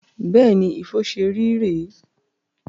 Beeni, bí Ifo ṣé rí re e